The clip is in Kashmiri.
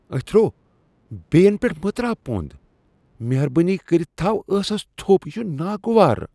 اتھرو، بیٚین پیٹھ مہ تراو پۄند ۔ مہربٲنی كرِتھ تھاو ٲسس تھو٘پ ۔ یہِ چُھ ناگوار۔